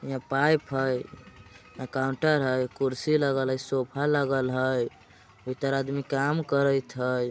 यहाँ पाइप हइ। यहाँ काउंटर हइ। कुर्सी लगल हइ। सोफा लागल हइ । भीतर आदमी काम करइत हइ।